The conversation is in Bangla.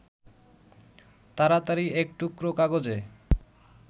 তাড়াতাড়ি এক টুকরো কাগজে